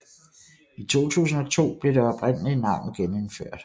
I 2002 blev det oprindelige navn genindført